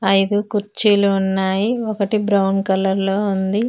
ఐదు కుర్చీలు ఉన్నాయి ఒకటి బ్రౌన్ కలర్ లో ఉంది.